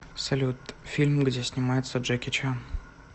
салют фильм где снимается джеки чан